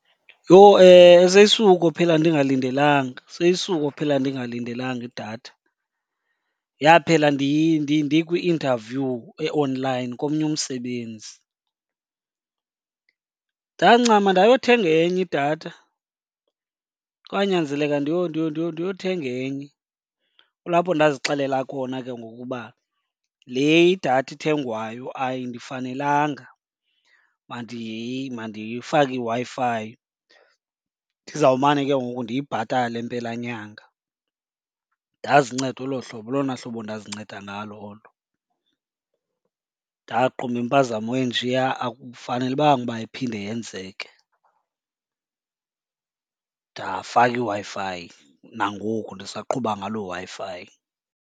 Yho! Seyisukophela ndingalindelanga idatha, seyisukophela ndingalindelanga idatha. Yaphela ndikwi-interview e-online komnye umsebenzi. Ndancama ndayothenga enye idatha, kwanyanzeleka ndiyothenga enye. Kulapho ndazixelela khona ke ngoku uba le idatha ithengwayo ayindifanelanga, mandifake iWi-Fi ndizawumane ke ngoku ndiyibhatale empelanyanga. Ndazinceda olo hlobo, ngolona hlobo endazinceda ngalo olo. Ndaqonda uba impazamo enjeya akufanelekanga uba iphinde yenzeke, ndafaka iWi-Fi. Nangoku ndisaqhuba ngaloo Wi-Fi.